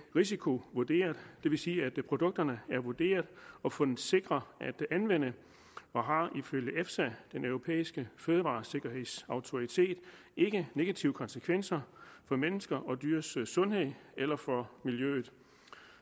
risikovurderet det vil sige at produkterne er vurderet og fundet sikre at anvende og har ifølge efsa den europæiske fødevaresikkerhedsautoritet ikke negative konsekvenser for menneskers og dyrs sundhed eller for miljøet